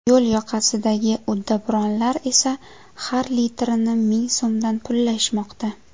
Yo‘l yoqasidagi uddaburonlar esa har litrini ming so‘mdan pullashmoqda.